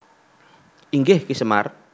Inggih Ki Semar